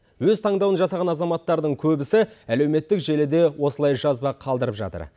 өз таңдауын жасаған азаматтардың көбісі әлеуметтік желіде осылай жазба қалдырып жатыр